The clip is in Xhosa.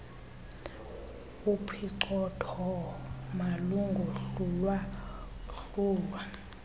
uphicothoo malungohlulwa hlulwa